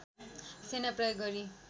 सेना प्रयोग गरी